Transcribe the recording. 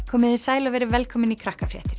komiði sæl og verið velkomin í